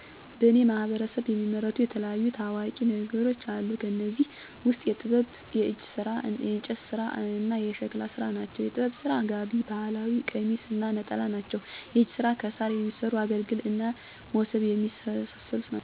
በእኔ ማህበረሰብ የሚመረቱ የተለያዩ ታዋቂ ነገሮች አሉ። ከእኔዚህ ውስጥ የጥበብ፣ የእጅ ስራ፣ የእንጨት ስራ እና የሸክላ ስራ ናቸው። -የጥበብ ስራ፦ ጋቢ የባህል ቀሚስ እና ነጠላ ናቸው። -የእጅ ስራ፦ ከሳር የሚሠሩ አገልግል እና ሞሠብ የመሳሠሉ ናቸው። -የእንጨት ስራ፦ ጠረጴዛ፣ ወንበር፣ ሙቀጫ እና ገበታ ናቸው። -የሸክላ ስራ፦ የቡና ጀበና፣ የጭስ ማጨሻ፣ ፅዋ እና እንስራ ናቸው